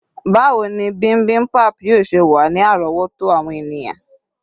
bawo ni bimbimbap yíò ṣe wa ni àrówòtó àwọn eniyan